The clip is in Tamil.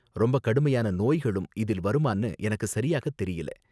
ரொம்ப கடுமையான நோய்களும் இதில் வருமான்னு எனக்கு சரியாக தெரியல.